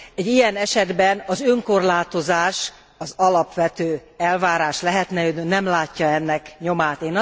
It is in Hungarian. Egy ilyen esetben az önkorlátozás az alapvető elvárás lehetne, de ő nem látja ennek nyomát.